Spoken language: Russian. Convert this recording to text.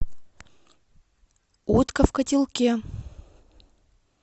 утка в котелке